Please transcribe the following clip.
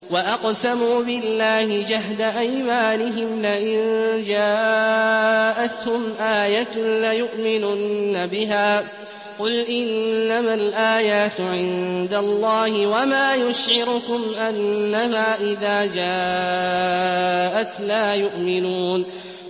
وَأَقْسَمُوا بِاللَّهِ جَهْدَ أَيْمَانِهِمْ لَئِن جَاءَتْهُمْ آيَةٌ لَّيُؤْمِنُنَّ بِهَا ۚ قُلْ إِنَّمَا الْآيَاتُ عِندَ اللَّهِ ۖ وَمَا يُشْعِرُكُمْ أَنَّهَا إِذَا جَاءَتْ لَا يُؤْمِنُونَ